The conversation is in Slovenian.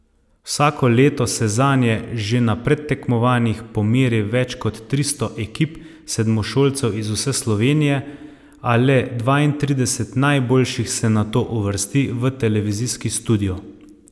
Vsako leto se zanje že na predtekmovanjih pomeri več kot tristo ekip sedmošolcev iz vse Slovenije, a le dvaintrideset najboljših se nato uvrsti v televizijski studio.